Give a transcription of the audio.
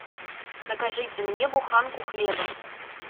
закажите мне буханку хлеба